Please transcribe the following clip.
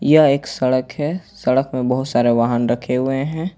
यह एक सड़क है सड़क में बहुत सारे वहां रखे हुए हैं।